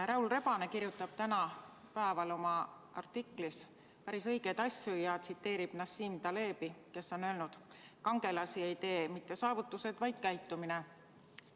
Raul Rebane kirjutab täna oma artiklis päris õigeid asju ja tsiteerib Nassim Talebi, kes on öelnud: "Kangelasi ei tee mitte saavutused, vaid käitumine.